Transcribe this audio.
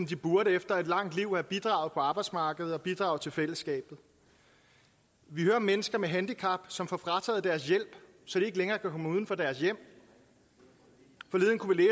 de burde efter i et langt liv at have bidraget på arbejdsmarkedet og bidraget til fællesskabet vi hører om mennesker med handicap som får frataget deres hjælp så de ikke længere kan komme uden for deres hjem forleden kunne vi